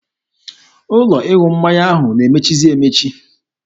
Ụlọ ịṅụ mmanya ahụ na-emechizi emechi.